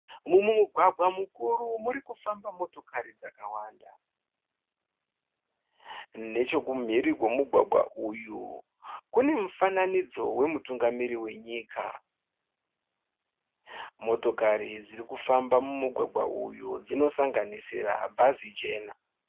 Mumugwagwa mukuru murikufamba motokari dzakawanda. Nechekumhiri kwomugwagwa uyu kune mufananidzo wemutungamiri wenyika. Motokari dzirikufamba mumugwagwa uyu dzinosanganisira bhazi jena.